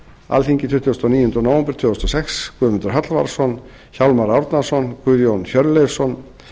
alþingi tuttugasta og níunda nóv tvö þúsund og sex guðmundur hallvarðsson hjálmar árnason guðjón hjörleifsson